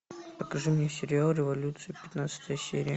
покажи мне сериал революция пятнадцатая серия